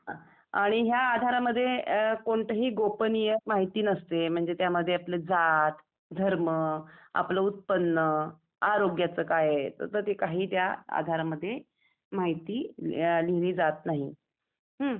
आणि या आधारामध्ये कोणतीही गोपनीय माहिती नसते म्हणजे त्यामध्ये आपली जात, धर्म, आपलं उत्पन्न , आरोग्याचं काय तसं काही त्या आधारामध्ये माहिती मिळालेली जात नाही आहे. हम्म?